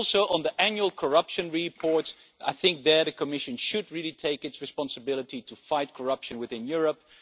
On the annual anti corruption report, I think the Commission should really take its responsibility to fight corruption within Europe.